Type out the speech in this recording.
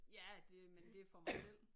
Ja det men det er for mig selv